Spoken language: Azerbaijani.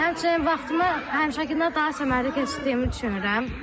Həmçinin vaxtımı həmişəkindən daha səmərəli keçirdiyimi düşünürəm.